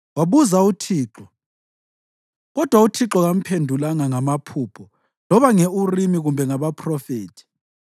Wabuza uThixo, kodwa uThixo kamphendulanga ngamaphupho loba nge-Urimi kumbe ngabaphrofethi.